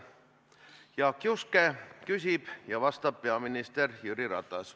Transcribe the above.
Jaak Juske küsib ja vastab peaminister Jüri Ratas.